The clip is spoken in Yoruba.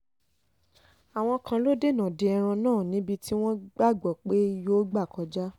àwọn kan lọ́ọ́ dènà de ẹran náà níbi tí wọ́n gbàgbọ́ pé yóò gbà kọjá